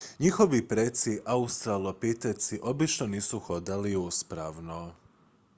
njihovi preci australopiteci obično nisu hodali uspravno